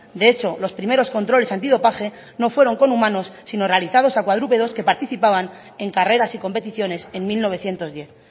de hecho los primeros controles antidopaje no fueron con humanos sino realizados a cuadrúpedos que participaban en carreras y competiciones en mil novecientos diez